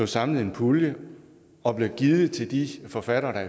samlet i en pulje og blev givet til de forfattere der